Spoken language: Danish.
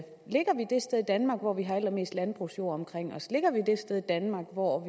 danmark hvor vi har allermest landbrugsjord omkring os ligger vi det sted i danmark hvor